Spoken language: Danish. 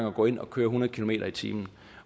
at gå ind og køre hundrede kilometer i timen